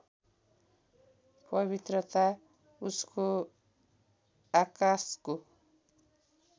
पवित्रता उसको आकाशको